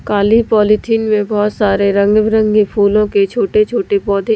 काली polythene में बहोत सारे रंग बिरंगे फूलों के छोटे छोटे पौधे--